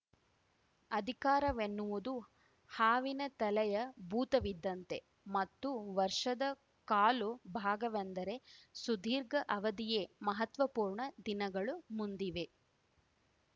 ಅಧಿಕಾರವೆನ್ನುವುದು ಹಾವಿನ ತಲೆಯ ಭೂತವಿದ್ದಂತೆ ಮತ್ತು ವರ್ಷದ ಕಾಲು ಭಾಗವೆಂದರೆ ಸುದೀರ್ಘ ಅವಧಿಯೇ ಮಹತ್ವಪೂರ್ಣ ದಿನಗಳು ಮುಂದಿವೆ